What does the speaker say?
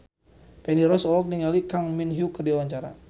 Feni Rose olohok ningali Kang Min Hyuk keur diwawancara